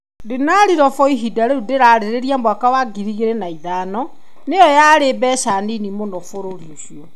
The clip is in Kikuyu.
Dinari robo ihinda rĩu, ndĩrarĩrĩria mwaka wa 2005,nĩyo yaarĩ mbeca nini mũno bũrũri-inĩ ũcio.